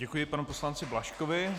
Děkuji panu poslanci Blažkovi.